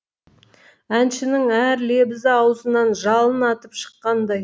әншінің әр лебізі аузынан жалын атып шыққандай